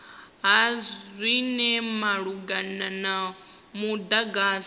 ha zwinwe malugana na mudagasi